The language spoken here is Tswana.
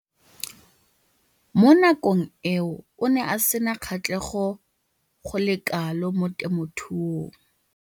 Mo nakong eo o ne a sena kgatlhego go le kalo mo temothuong.